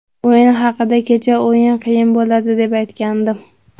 O‘yin haqida Kecha o‘yin qiyin bo‘ladi deb aytgandim.